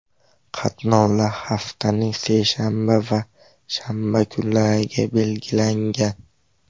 Qatnovlar haftaning seshanba va shanba kunlariga belgilangan.